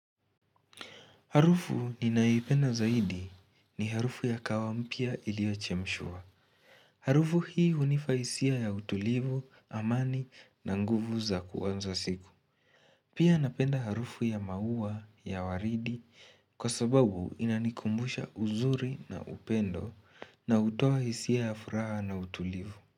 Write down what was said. Harufu ninaoipenda zaidi ni harufu ya kahawa mpia iliochemshwa. Harufu hii hunifaisia ya utulivu, amani na nguvu za kuwanza siku. Pia napenda harufu ya maua ya waridi kwa sababu inanikumbusha uzuri na upendo na utoa isia ya furaha na utulivu.